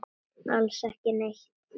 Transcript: Alls ekki neitt.